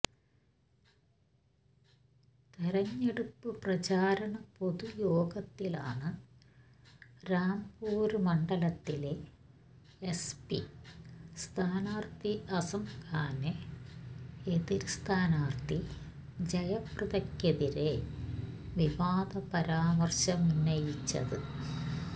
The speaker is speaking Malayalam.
തെരഞ്ഞെടുപ്പ് പ്രചാരണ പൊതുയോഗത്തിലാണ് രാംപൂര് മണ്ഡലത്തിലെ എസ് പി സ്ഥാനാര്ത്ഥി അസംഖാന് എതിര് സ്ഥാനാര്ത്ഥി ജയപ്രദക്കെതിരെ വിവാദ പരാമര്ശമുന്നയിച്ചത്